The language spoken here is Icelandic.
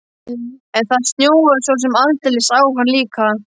En það snjóaði svo sem aldeilis á hann líka.